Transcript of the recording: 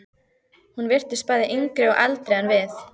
Hún virtist bæði yngri og eldri en við.